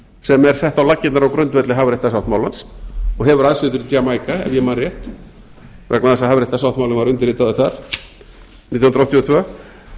sem er sett á laggirnar á grundvelli hafréttarsáttmálans og hefur aðsetur í jamaíka ef ég man rétt vegna þess að hafréttarsáttmálinn var undirritaður þar nítján hundruð áttatíu og tvö